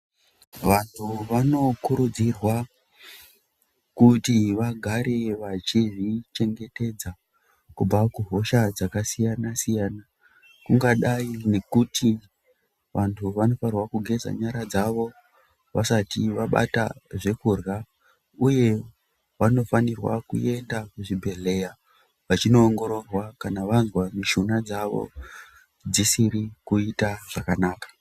Vantu vanokurudzirwa kuti vagare vachizvichengetedza, kubva kuhosha dzakasiyana-siyana, kungadai nekuti vantu vanofanirwakugeza nyara dzavo vasati vabata zvekurya, uye vanofanirwa kuenda kuzvibhedhlera vachinoongororwa kana vazwa mishuna dzavo dzisiri kuita zvakanaka.